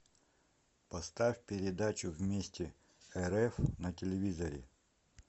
поставь передачу вместе рф на телевизоре